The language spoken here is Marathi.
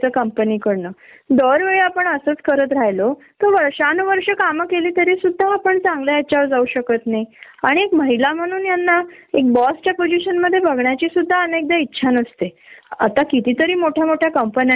आपण काही हा हाल्फ डे मारायला गेलो आपल्याला शंभर नमुन्याचे प्रश्नना त्यांना उत्तर द्याव लागत. प्रत्येक प्रमोशन साठी आपल्याला झगडायाला लागत, आपली परत आपली वॅल्यू प्रूव्ह करावी लागते एक महिला बॉस हे लोक का सहन करू शकत नाही.